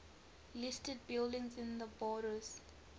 listed buildings in the borders